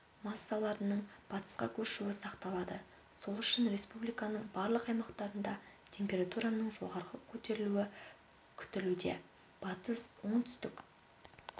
массаларының батысқа көшуі сақталады сол үшін республиканың барлық аймақтарында температураның жоғары көтерілуі күтілуде батыс оңтүстік